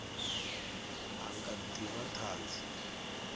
a nga ḓi vha ṱhanzi